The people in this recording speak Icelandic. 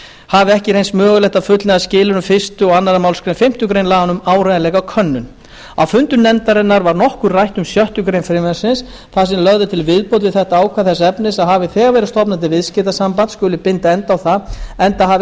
hafi ekki reynst mögulegt að fullnægja skilyrðum fyrstu og annarri málsgrein fimmtu grein laganna um áreiðanleikakönnun á fundum nefndarinnar var nokkuð rætt um sjöttu greinar frumvarpsins þar sem lögð er til viðbót við þetta ákvæði þess efnis að hafi þegar verið stofnað til viðskiptasambands skuli binda enda á það enda hafi